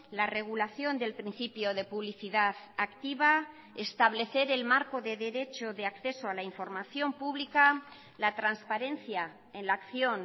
la regulación del principio de publicidad activa establecer el marco de derecho de acceso a la información pública la transparencia en la acción